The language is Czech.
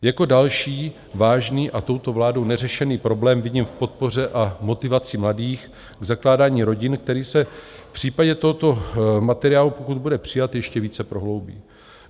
Jako další vážný a touto vládou neřešený problém vidím v podpoře a motivaci mladých k zakládání rodin, který se v případě tohoto materiálu, pokud bude přijat, ještě více prohloubí.